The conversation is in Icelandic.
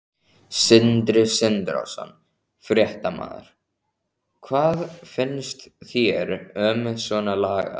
Sindri Sindrason, fréttamaður: Hvað finnst þér um svona lagað?